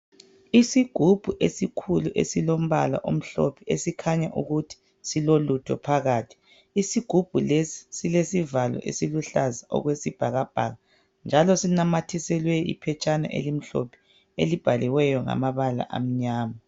Isigubhu esikhulu esilombala omhlophe, esikhanya ukuthi silolutho phakathi. Isigubhu lesi, silesivalo esiluhlaza okwesibhakabhaka, njalo sinamathiselwe iphetshana elimhlophe, elibhaliweyo ngamabala amnyama.